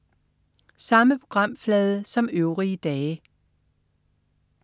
Samme programflade som øvrige dage